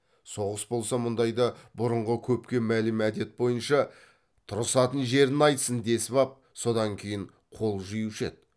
соғыс болса мұндайда бұрынғы көпке мәлім әдет бойынша тұрысатын жерін айтсын десіп ап содан кейін қол жиюшы еді